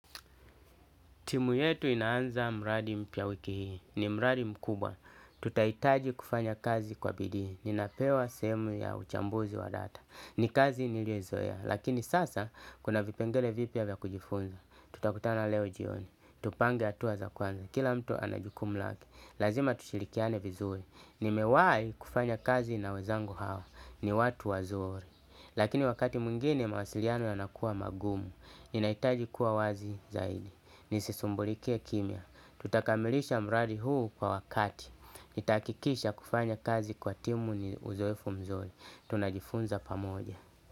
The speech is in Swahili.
Timu yetu inaanza mradi mpya wiki hii. Ni mradi mkubwa. Tutahitaji kufanya kazi kwa bidii. Ninapewa sehemu ya uchambuzi wa data. Ni kazi niliyoizoeya. Lakini sasa kuna vipengele vipya vya kujifunza. Tutakutana leo jioni. Tupange hatua za kwanza. Kila mtu ana jukumu lake. Lazima tushilikiane vizuri. Nimewai kufanya kazi na wezangu hawa. Ni watu wazuri. Lakini wakati mwingine mawasiliano yanakua magumu. Ninahitaji kuwa wazi zaidi. Ni sisumbulike kimya. Tutakamilisha mraadi huu kwa wakati. Nitahakikisha kufanya kazi kwa timu ni uzoefu mzori. Tunajifunza pamoja.